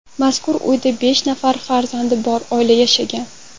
Mazkur uyda besh nafar farzandi bor oila yashagan.